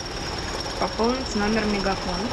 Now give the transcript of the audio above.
пополнить номер мегафон